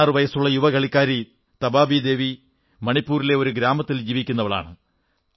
16 വയസ്സുള്ള യുവ കളിക്കാരി തബാബി ദേവി മണിപ്പൂരിലെ ഒരു ഗ്രാമത്തിൽ ജീവിക്കുന്നവളാണ്